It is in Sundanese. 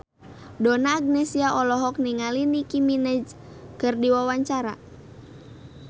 Donna Agnesia olohok ningali Nicky Minaj keur diwawancara